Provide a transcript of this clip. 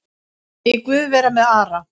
Megi Guð vera með Ara.